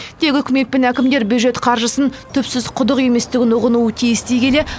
тек үкімет пен әкімдер бюджет қаржысын түпсіз құдық еместігін ұғынуы тиіс дей келе